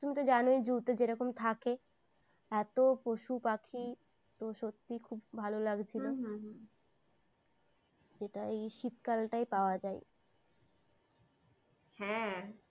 তুমি তো জানোই zoo তে যেরকম থাকে এত পশু পাখি তো সত্যিই খুব ভালো লাগছিল হম হম হম যেটা এই শীতকালটাই পাওয়া যায় হ্যাঁ